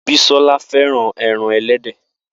Bisola fẹ́ràn ẹran ẹlẹ́dẹ̀.